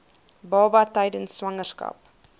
baba tydens swangerskap